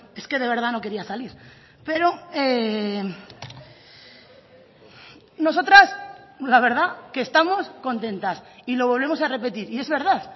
es que de verdad no quería salir pero nosotras la verdad que estamos contentas y lo volvemos a repetir y es verdad